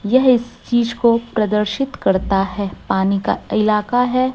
यह इस चीज को प्रदर्शित करता है पानी का इलाका है।